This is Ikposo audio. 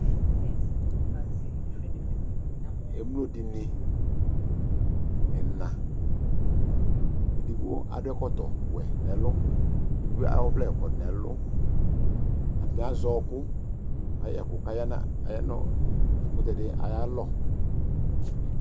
Etins, yi kan si difrɛn difrɛn tind, nlka mo Ɛmlo dene ena, edigbo ado ɛkɔtɔwɛ nɛlu, edigbo ayɔ ɔvlɛ kɔ nɛluAtane azɛ ɔku Ayɛku ka ya na, aya no ɛkutɛ ed ayalɔ